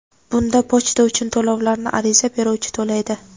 Bunda pochta uchun to‘lovlarni ariza beruvchi to‘laydi.